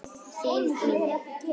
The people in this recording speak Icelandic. Þín Mía.